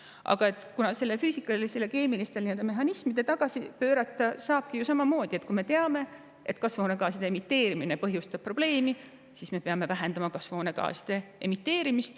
Aga neid füüsikalis-keemilisi mehhanisme saabki ju samamoodi tagasi pöörata nii, et kui me teame seda, et kasvuhoonegaaside emiteerimine põhjustab probleeme, siis peame nende emiteerimist vähendama.